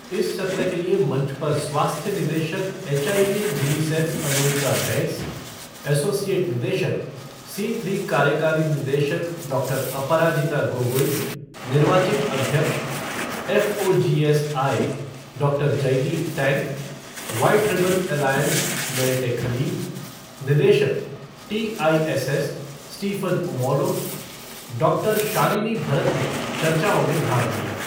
इस सत्र के लिए मंच पर स्वास्थ्य निदेशक HIV UNICEF Anurita Bains, associate निदेशक, सी थ्री कार्यकारी निदेशक डॉक्टर अपराजिता गोगोई, निर्वाचित अध्यक्ष, FOGSI, doctor. Jaydeep Tank, White Ribbon Alliance Merete Khalil, निदेशक, TISS, Stephen Omolo, doctor. Shalini Bharat ने चर्चाओं में भाग लिया।